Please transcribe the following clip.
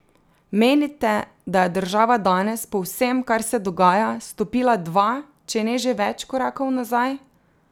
Menite, da je država danes, po vsem, kar se dogaja, stopila dva, če ne že več korakov nazaj?